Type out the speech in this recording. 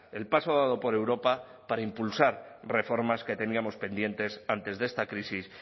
el paso dado por europa para impulsar reformas que teníamos pendientes antes de esta crisis